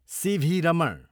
C.V.. Raman